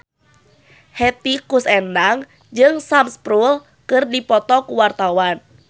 Hetty Koes Endang jeung Sam Spruell keur dipoto ku wartawan